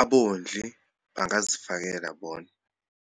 abondli bangazifakela bona.